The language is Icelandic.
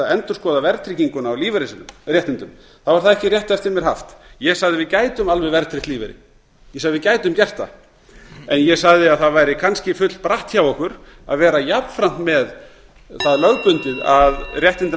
ætti að endurskoða verðtrygginguna á lífeyrisréttindum er það ekki rétt eftir mér haft ég sagði að við gætum alveg verðtryggt lífeyri ég sagði að við gætum gert það en ég sagði að það væri kannski fullbratt hjá okkur að vera jafnframt með það lögbundið að réttindin